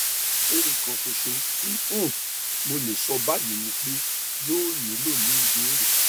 ohun kan ṣoṣo ti um mo le sọ ni bayi ni pe yoo nilo ni ibere